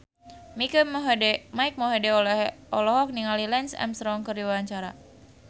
Mike Mohede olohok ningali Lance Armstrong keur diwawancara